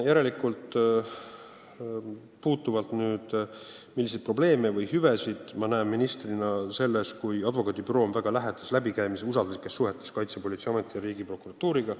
Te küsite, milliseid probleeme või hüvesid ma ministrina näen selles, kui advokaadibüroo on väga lähedastes usalduslikes suhetes Kaitsepolitseiameti ja prokuratuuriga.